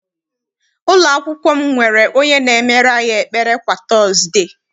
Ụlọakwụkwọ m nwere onye na-emere anyị ekpere kwa tọọzde.